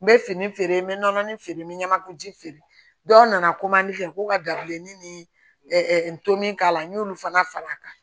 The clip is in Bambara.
N bɛ fini feere n bɛ nɔnɔnin feere n bɛ ɲamaku ji feere dɔw nana ko ka dabileni ni n tom'a la n y'olu fana fara a kan